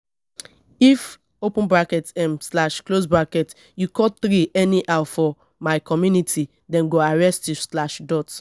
if um you cut tree anyhow for my community dem go arrest you.